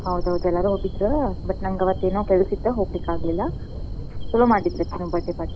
ಹೌದೌದ ಎಲ್ಲಾರೂ ಹೋಗಿದ್ರ but ನಂಗ್ ಅವತ್ತೇನೊ ಕೆಲ್ಸ ಇತ್ತ್ ಹೋಗ್ಲಿಕಾಗ್ಲಿಲ್ಲ. ಛಲೋ ಮಾಡಿದ್ರ್ birthday party ಛಲೋ ಮಾಡಿದ್ರ.